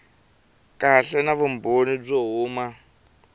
kahle na vumbhoni byo huma